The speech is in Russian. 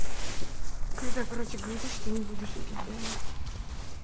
когда короче говоришь что не будешь пить да